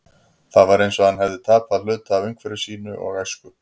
Það var eins og hann hefði tapað hluta af umhverfi sínu og æsku.